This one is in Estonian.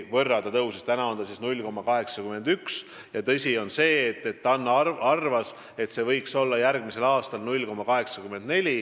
Praegu on 0,81 ja TAN-i arvates võiks järgmisel aastal olla 0,84.